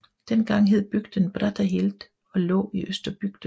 Dengang hed bygden Brattahlid og lå i Østerbygden